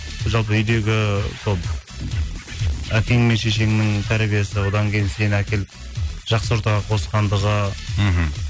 жалпы үйдегі сол әкең мен шешеңнің тәрбиесі одан кейін сені әкеліп жақсы ортаға қосқандығы мхм